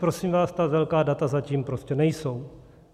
Prosím vás, ta velká data zatím prostě nejsou.